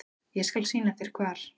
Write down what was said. Ég skal sýna þér hvar.